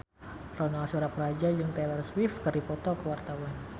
Ronal Surapradja jeung Taylor Swift keur dipoto ku wartawan